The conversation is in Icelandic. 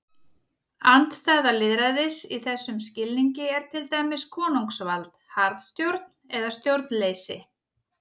Andstæða lýðræðis í þessum skilningi er til dæmis konungsvald, harðstjórn eða stjórnleysi.